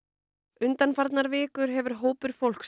undanfarnar vikur hefur hópur fólks